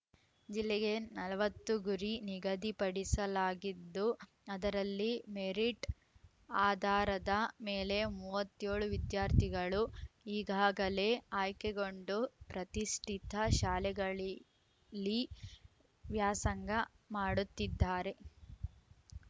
ಜಿಲ್ಲೆಗೆ ನಲವತ್ತು ಗುರಿ ನಿಗದಿಪಡಿಸಲಾಗಿದ್ದು ಅದರಲ್ಲಿ ಮೆರಿಟ್‌ ಆಧಾರದ ಮೇಲೆ ಮೂವತ್ತ್ ಏಳು ವಿದ್ಯಾರ್ಥಿಗಳು ಈಗಾಗಲೇ ಆಯ್ಕೆಗೊಂಡು ಪ್ರತಿಷ್ಠಿತ ಶಾಲೆಗಳಿಲ್ಲಿ ವ್ಯಾಸಂಗ ಮಾಡುತ್ತಿದ್ದಾರೆ